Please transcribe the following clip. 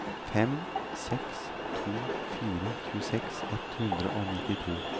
fem seks to fire tjueseks ett hundre og nittito